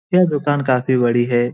दुकान काफी बड़ी हे ।